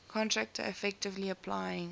contractor effectively applying